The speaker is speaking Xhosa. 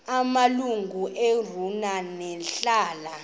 amalungu equmrhu lebandla